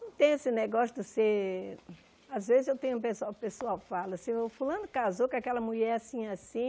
Não tem esse negócio de você... Às vezes eu tenho... O pessoal o pessoal fala assim, seu fulano casou com aquela mulher assim e assim.